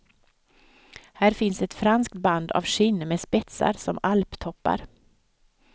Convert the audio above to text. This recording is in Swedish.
Här finns ett franskt band av skinn med spetsar som alptoppar.